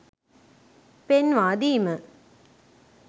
පෙන්වා දීම